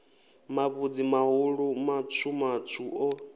mavhudzi mahulu matswu matswu o